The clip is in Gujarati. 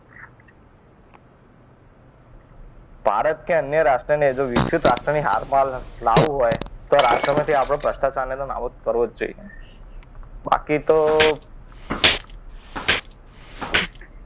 ભારત કે અન્ય રાષ્ટ્રને જો વિકસિત રાષ્ટ્રની હાલમાં લાવવું હોય. તો રાષ્ટ્રમાંથી આપણે ભ્રષ્ટાચારને નાબૂદ કરવો જ જોઈએ. બાકી તો